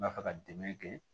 N b'a fɛ ka dɛmɛ kɛ